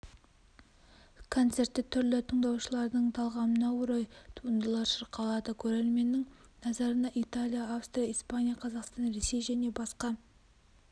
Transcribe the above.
концертте түрлі тыңдаушылардың талғамына орай туындылар шырқалады көрерменнің назарына италия австрия испания қазақстан ресей және басқа